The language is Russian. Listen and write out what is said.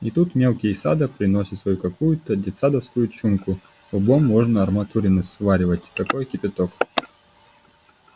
и тут мелкий из сада приносит свою какуюто детсадовскую чумку лбом можно арматурины сваривать такой кипяток